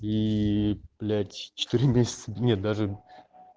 и блять четыре месяца нет даже